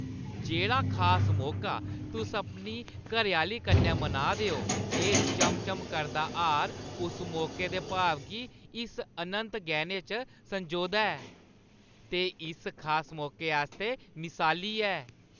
जेह्ड़ा खास मौका तुस अपनी घरैआह्‌ली कन्नै मनाऽ दे ओ, एह् चम-चम करदा हार उस मौके दे भाव गी इस अनंत गैह्‌ने च संजोदा ऐ ते उस खास मौके आस्तै मिसाली ऐ ।